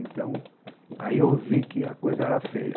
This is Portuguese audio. Então, aí eu vi que a coisa era feia.